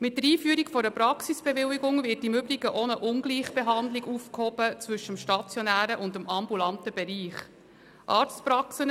Mit der Einführung einer Praxisbewilligung wird im Übrigen auch eine Ungleichbehandlung zwischen dem stationären und dem ambulanten Bereich aufgehoben.